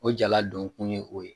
O jala donkun ye o ye